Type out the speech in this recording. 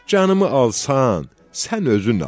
Canımı alsan, sən özün al.